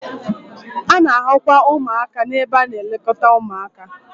A na-ahụkwa ụmụaka n'ebe a na-elekọta ụmụaka